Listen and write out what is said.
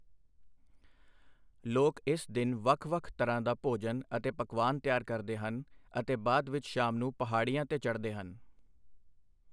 ਲੋਕ ਇਸ ਦਿਨ ਵੱਖ ਵੱਖ ਤਰ੍ਹਾਂ ਦਾ ਭੋਜਨ ਅਤੇ ਪਕਵਾਨ ਤਿਆਰ ਕਰਦੇ ਹਨ ਅਤੇ ਬਾਅਦ ਵਿੱਚ ਸ਼ਾਮ ਨੂੰ ਪਹਾੜੀਆਂ 'ਤੇ ਚੜ੍ਹਦੇ ਹਨ।